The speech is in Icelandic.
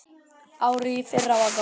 Árið í fyrra var gott.